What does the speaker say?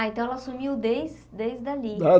Ah, então ela assumiu desde desde ali.